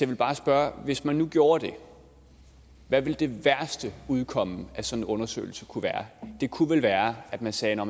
vil bare spørge hvis man nu gjorde det hvad ville det værste udkomme af en sådan undersøgelse kunne være det kunne vel være at man sagde at